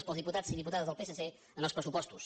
dels diputats i diputades del psc en els pressupostos